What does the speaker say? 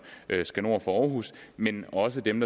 skal nord for aarhus men også af dem